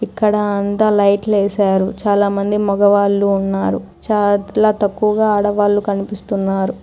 ఇక్కడ అంతా లైట్లు వేశారు. చాలామంది మగవాళ్ళు ఉన్నారు. చాలా తక్కువగా ఆడవాళ్లు కనిపిస్తున్నారు.